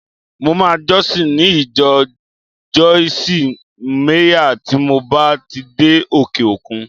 Mo máa jọ́sìn ní ìjọ Joyce Meyer tí mo bá ti dé òkè-òkun